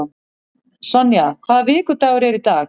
Sonja, hvaða vikudagur er í dag?